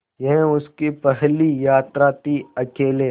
यह उसकी पहली यात्रा थीअकेले